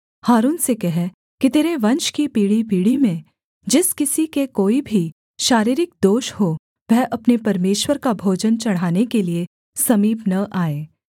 हारून से कह कि तेरे वंश की पीढ़ीपीढ़ी में जिस किसी के कोई भी शारीरिक दोष हो वह अपने परमेश्वर का भोजन चढ़ाने के लिये समीप न आए